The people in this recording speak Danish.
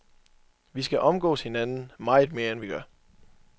Vi skal omgås hinanden, meget mere end vi gør.